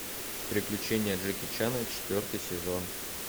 приключения джеки чана четвертый сезон